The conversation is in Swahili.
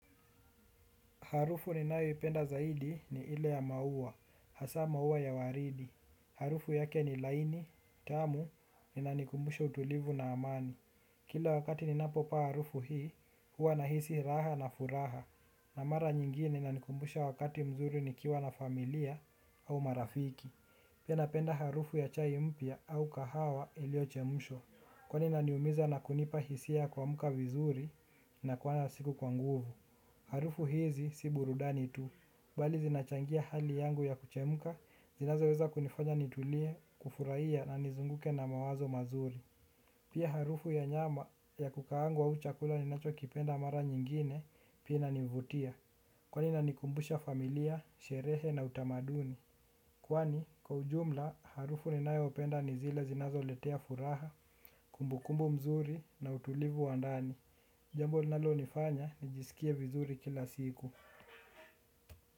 Harufu ninayoipenda zaidi ni ile ya maua, hasa maua ya waridi. Harufu yake ni laini, tamu, inanikumbusha utulivu na amani. Kila wakati ninapopaa harufu hii, huwa nahisi raha na furaha. Na mara nyingine inanikumbusha wakati mzuri nikiwa na familia au marafiki. Pia napenda harufu ya chai mpya au kahawa iliyochemshwa. Kwani inaniumiza na kunipa hisia kuamka vizuri na kuona siku kwa nguvu. Harufu hizi si burudani tu, bali zinachangia hali yangu ya kuchemka, zinazoweza kunifanya nitulie, kufuraia na nizunguke na mawazo mazuri. Pia harufu ya nyama ya kukaangwa au chakula ninachokipenda mara nyingine pia inanivutia, kwani inanikumbusha familia, sherehe na utamaduni. Kwani, kwa ujumla, harufu ninayopenda ni zile zinazoletea furaha, kumbukumbu mzuri na utulivu wa ndani. Jambo linalonifanya, nijisikie vizuri kila siku.